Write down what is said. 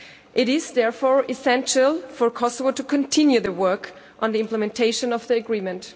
It is therefore essential for Kosovo to continue working on the implementation of the agreement.